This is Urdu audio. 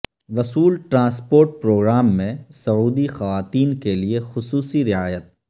وصول ٹرانسپورٹ پروگرام میں سعودی خواتین کیلئے خصوصی رعایت